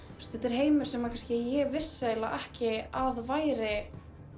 heimur sem ég vissi ekki að væri